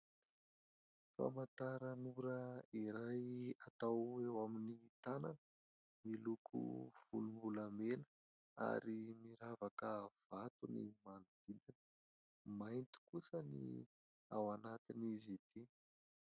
Famantaranora iray atao eo amin'ny tanana, miloko volombolamena ary miravaka vato ny manodidina, mainty kosa ny ao anatin'izy ity.